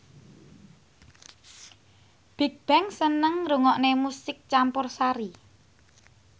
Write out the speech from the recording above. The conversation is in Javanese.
Bigbang seneng ngrungokne musik campursari